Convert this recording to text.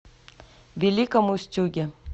великом устюге